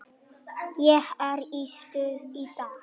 Ég er í stuði í dag.